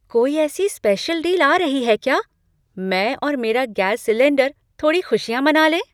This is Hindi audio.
कोई ऐसी स्पेशल डील आ रही है क्या? मैं और मेरा गैस सिलेन्डर थोड़ी खुशियाँ मना लें!